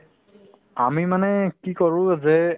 আমি মানে কি কৰো যে